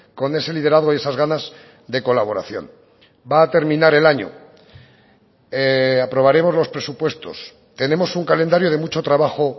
con ese liderazgo y esas ganas de colaboración va a terminar el año aprobaremos los presupuestos tenemos un calendario de mucho trabajo